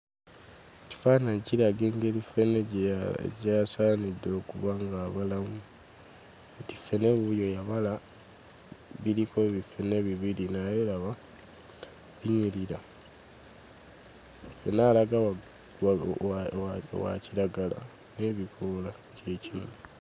Ekifaananyi kiraga engeri ffene gy'asaanidde okuba ng'abalamu. Kati ffene wuuyo yabala, biriko biffene bibiri naye laba binyirira. Ffene alaga wa wa wa kiragala n'ebikoola kye kimu.